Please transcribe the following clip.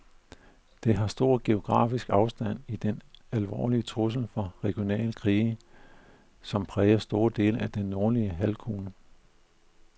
Det har stor geografisk afstand til den alvorlige trussel fra regionale krige, som præger store dele af den nordlige halvkugle.